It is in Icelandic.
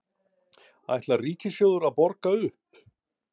Ætlar Ríkissjóður að borga upp?